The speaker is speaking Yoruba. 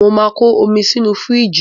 Mo máa ko omi sínú fíríjì